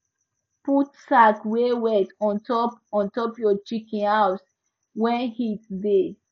put sack wey wet ontop ontop your chicken house when heat da